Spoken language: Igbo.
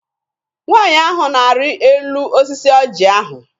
Nwaanyị ahụ na-arị elu osisi ọjị ahụ.